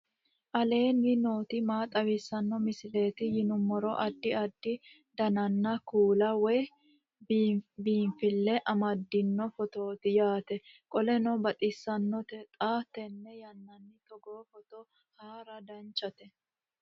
aleenni nooti maa xawisanno misileeti yinummoro addi addi dananna kuula woy biinsille amaddino footooti yaate qoltenno baxissannote xa tenne yannanni togoo footo haara danvchate